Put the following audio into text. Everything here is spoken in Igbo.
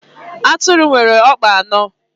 Atụrụ nwere ọkpa anọ